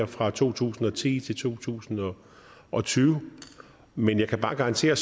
fra to tusind og ti til to tusind og tyve men jeg kan bare garantere